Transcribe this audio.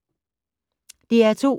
DR2